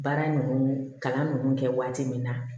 Baara ninnu kalan ninnu kɛ waati min na